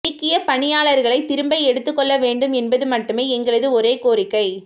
நீக்கிய பணியாளர்களை திரும்ப எடுத்துக்கொள்ளவேண்டும் என்பது மட்டுமே எங்களது ஒரே கோரிக்கை